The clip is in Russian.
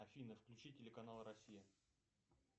афина включи телеканал россия